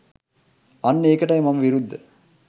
අන්න ඒකටයි මම විරුද්ධ.